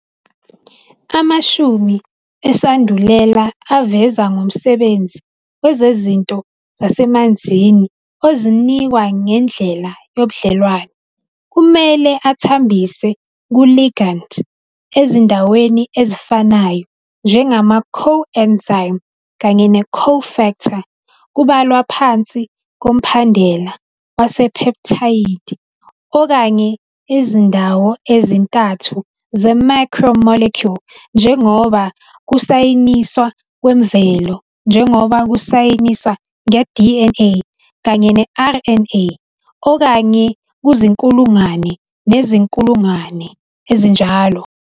Amashumi esandulela aveza ngomsebenzi wezezinto zasemanzini ozinikwa ngendlela yobudlelwane, kumele athambise ku-ligand ezindaweni ezifanayo njengama-coenzyme kanye ne-cofactor, kubalwa phansi komphandela wasepeptayidi okanye izindawo ezintathu ze-macromolecule njengoba kusayiniswa kwemvelo njengoba kusayiniswa ngeDNA kanye neRNA, okanye kuzinkulungwane zezinkulungwane ezinjalo.